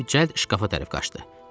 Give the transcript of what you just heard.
deyib cəld şkafa tərəf qaçdı.